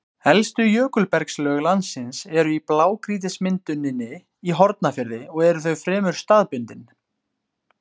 Elstu jökulbergslög landsins eru í blágrýtismynduninni í Hornafirði og eru þau fremur staðbundin.